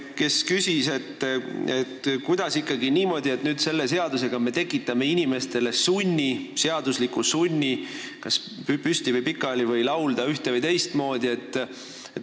Ta küsis, kuidas ikkagi niimoodi saab, et me tekitame selle seadusega sunni, kas inimestel tuleb hümni laulda püsti või pikali, ühte- või teistmoodi.